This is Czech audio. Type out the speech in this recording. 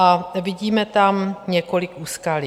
A vidíme tam několik úskalí.